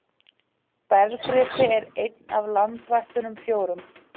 Bergrisi er einn af landvættunum fjórum.